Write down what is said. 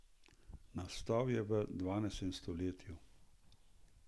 Nastal je v dvanajstem stoletju.